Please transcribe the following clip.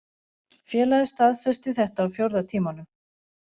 Félagið staðfesti þetta á fjórða tímanum